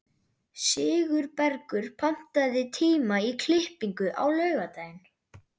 Sigurbergur, pantaðu tíma í klippingu á laugardaginn.